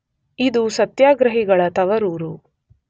ಇದು ಸತ್ಯಾಗ್ರಹಿಗಳ ತವರೂರು.